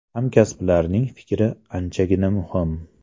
Hamkasblarning fikri anchagina muhim.